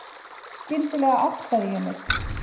Skyndilega áttaði ég mig.